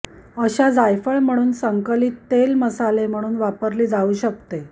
अशा जायफळ म्हणून संकलित तेल मसाले म्हणून वापरली जाऊ शकते